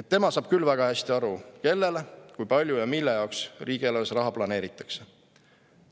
et tema saab küll väga hästi aru, kellele, kui palju ja mille jaoks riigieelarves raha planeeritakse.